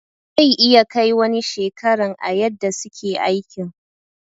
Zai iya Kai wani shekaran a yadda suke aikin.